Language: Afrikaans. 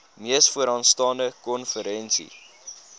mees vooraanstaande konferensie